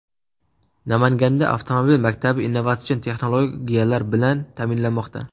Namanganda avtomobil maktabi innovatsion texnologiyalar bilan ta’minlanmoqda.